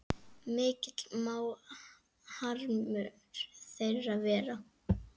Mikill má harmur þeirra vera.